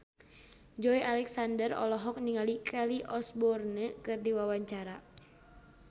Joey Alexander olohok ningali Kelly Osbourne keur diwawancara